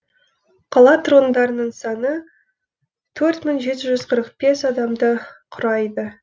қала тұрғындарының саны төрт мың жеті жүз қырық бес адамды құрайды